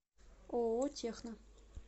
ооо техно